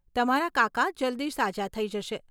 તમારા કાકા જલ્દી સાજા થઈ જશે.